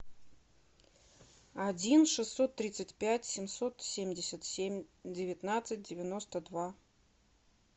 один шестьсот тридцать пять семьсот семьдесят семь девятнадцать девяносто два